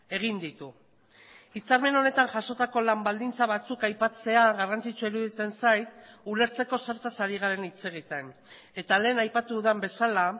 egin ditu hitzarmen honetan jasotako lan baldintza batzuk aipatzea garrantzitsua iruditzen zait ulertzeko zertaz ari garen hitz egiten eta lehen aipatu dudan bezala